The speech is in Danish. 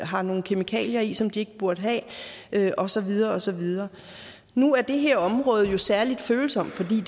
har nogle kemikalier i som det ikke burde have og så videre og så videre nu er det her område særlig følsomt fordi